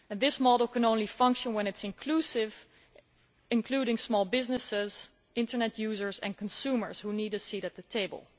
This model can only function when it is inclusive, including small businesses, Internet users and consumers, who need a seat at the table.